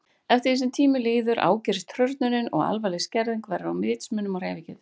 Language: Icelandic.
Eftir því sem tíminn líður ágerist hrörnunin og alvarleg skerðing verður á vitsmunum og hreyfigetu.